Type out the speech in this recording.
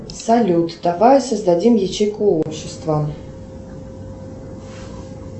салют давай создадим ячейку общества